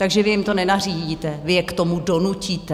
Takže vy jim to nenařídíte, vy je k tomu donutíte.